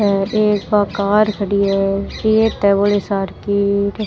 हेर एक बा कार खड़ी है रेत है बौली सार की।